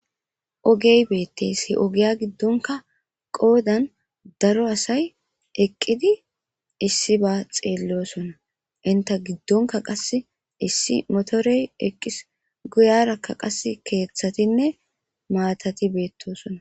Ogey betes ogiya gidonka qodan daro asay eqidi isiba xelosona enta gidonka qasi issi motorey eqis guyaraka qasi kethatine matati betosona.